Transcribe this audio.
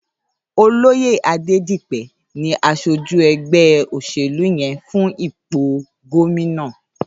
Ólóyé Adedipe ni àṣójú ẹgbẹ óṣélú yèn fún ipó góminà